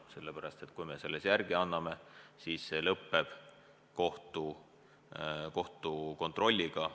Sellepärast et kui me selles järele anname, siis see lõppeb kohtukontrolliga.